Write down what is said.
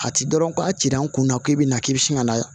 A ti dɔrɔn ko a cira n kun na k'e bina k'i bi sin ka na